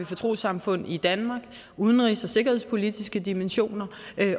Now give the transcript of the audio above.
for trossamfund i danmark udenrigs og sikkerhedspolitiske dimensioner